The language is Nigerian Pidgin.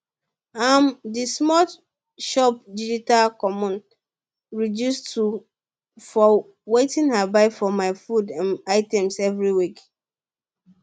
um d small shop digital coupon reduce 2 for wetin i buy for my food um items every week